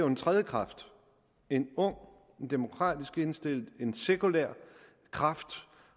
en tredje kraft en ung demokratisk indstillet sekulær kraft